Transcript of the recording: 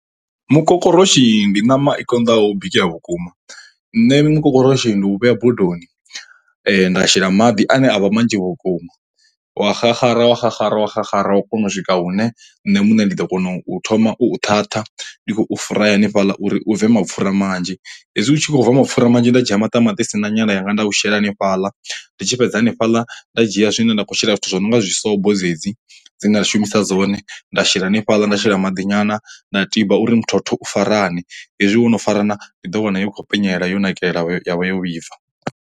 Mukokoroshi ndi ṋama i konḓaho bikea vhukuma, nṋe mukokoroshi ndi u vhea bodoni nda shela maḓi ane a vha manzhi vhukuma, wa xaxara wa xaxara wa xaxara wa kona u swika hune nṋe muṋe ndi ḓo kona u thoma u u ṱhaṱha ndi khou fry hanefhaḽa uri u bve mapfhura manzhi. Hezwi u tshi khou bva mapfhura manzhi nda dzhia maṱamaṱisi na nyala yanga nda u shela hanefhala, ndi tshi fhedza hanefhaḽa nda dzhia zwine nda khou shela. Zwithu zwo no nga dzisobo dze dzi dzi nda shumisa dzone, nda shela hanefhala nda shela maḓi nyana nda tiba uri muthotho farane, hezwi wo no farana ndi ḓo wana i khou penyelela yo nakelela ya vha ya vha yo vhibva.